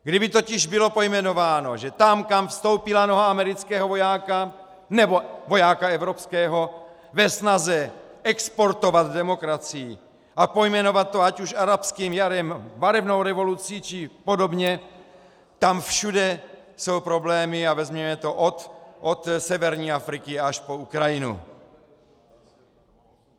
Kdyby totiž bylo pojmenováno, že tam, kam vstoupila noha amerického vojáka nebo vojáka evropského ve snaze exportovat demokracii a pojmenovat to ať už arabským jarem, barevnou revolucí či podobně, tam všude jsou problémy, a vezměme to od severní Afriky až po Ukrajinu.